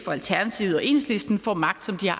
alternativet og enhedslisten får magt som de har